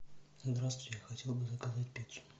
здравствуйте я хотел бы заказать пиццу